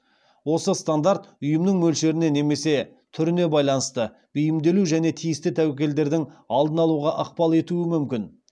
осы стандарт ұйымның мөлшеріне немесе түріне байланысты бейімделуі және тиісті тәуекелдердің алдын алуға ықпал етуі мүмкін